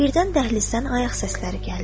Birdən dəhlizdən ayaq səsləri gəldi.